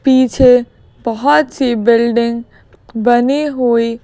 पीछे बहुत सी बिल्डिंग बनी हुई--